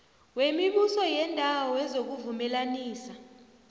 wemibuso yeendawo wezokuvumelanisa